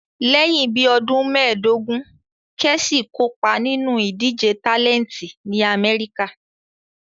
Lẹ́yìn bí ọdún méẹ̀dógún, Kẹ́chì kopa ninu idije tálẹntì ní Amẹ́ríkà